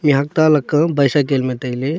mihuak ta lako bicycle me taile.